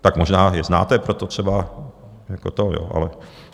Tak možná je znáte, proto třeba jako to jo, ale...